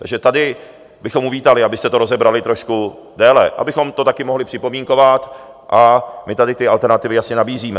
Takže tady bychom uvítali, abyste to rozebrali trošku déle, abychom to také mohli připomínkovat, a my tady ty alternativy jasně nabízíme.